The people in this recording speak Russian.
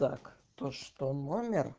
так то что номер